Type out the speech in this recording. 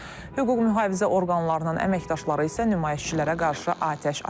Hüquq mühafizə orqanlarının əməkdaşları isə nümayişçilərə qarşı atəş açıb.